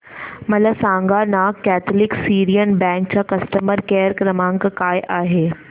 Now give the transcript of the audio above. मला सांगाना Catholic Syrian bank चा कस्टमर केअर क्रमांक काय आहे